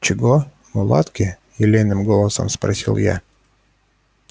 чего мулатки елейным голосом спросила я